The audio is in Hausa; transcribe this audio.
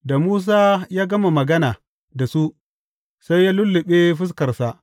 Da Musa ya gama magana da su, sai ya lulluɓe fuskarsa.